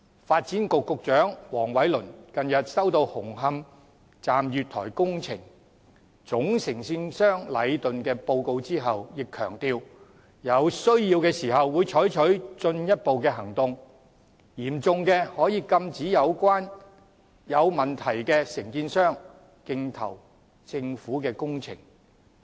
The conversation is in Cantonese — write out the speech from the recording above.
發展局局長黃偉綸近日收到紅磡站月台工程總承建商禮頓建築有限公司的報告後，也強調有需要時會採取進一步的行動，於情況嚴重時可以禁止有問題的承建商競投政府的工程。